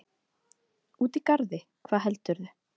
Úti í garði, hvað heldurðu!